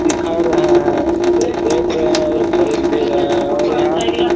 दिखा रहे है दे देख रहे है और खरीद भी रहे है और यहाँ--